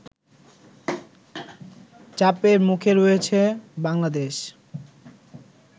চাপের মুখে রয়েছে বাংলাদেশ